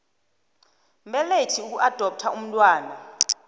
mbelethi ukuadoptha umntwana